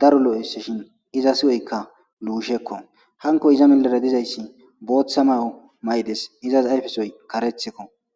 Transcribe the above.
daro lo'esshshin izas huphezikka lushshakko hankko eza millera eqqiday boththa Mayo mayiddes izas ayifessoy kareththikko.